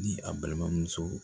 Ni a balimamuso